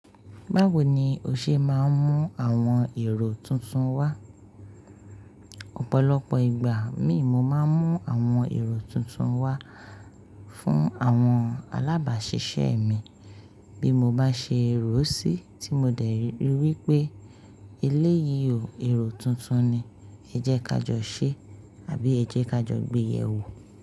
Báwo ni o ṣe máa ń mú àwọn èrò tuntun wá? Ọ̀pọ̀lọpọ̀ ìgbà mi, mo máa ń mú àwọn èrò tuntun wá fún àwọn alábàáṣiṣẹ́ mi bí mo bá ṣe ròo sí tí mo dẹ̀ ri wípé eléyìí ò èrò tuntun ni. Ẹ jẹ́ ká jọ ṣẹ́ àbí ẹ jẹ́ ká jọ gbéyè wò.